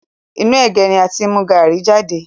Inú ẹ̀gé ni a ti mú gaàrí jade